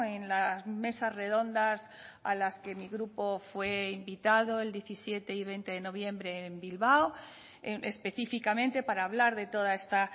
en las mesas redondas a las que mi grupo fue invitado el diecisiete y veinte de noviembre en bilbao específicamente para hablar de toda esta